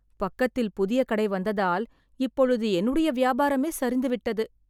பக்கத்தில் புதிய கடை வந்ததால் இப்பொழுது என்னுடைய வியாபாரமே சரிந்து விட்டது